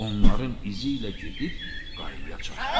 Onların izi ilə gedib qayaya çatdılar.